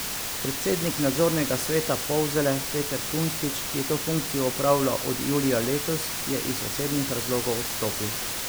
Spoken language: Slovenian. Predsednik nadzornega sveta Polzele Peter Kunstič, ki je to funkcijo opravljal od julija letos, je iz osebnih razlogov odstopil.